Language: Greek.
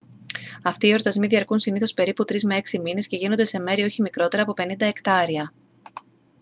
αυτοί οι εορτασμοί διαρκούν συνήθως περίπου τρεις με έξι μήνες και γίνονται σε μέρη όχι μικρότερα από 50 εκτάρια